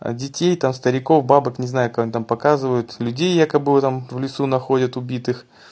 детей там стариков бабок не знаю кого они там показывают людей якобы там в лесу этом находят убитых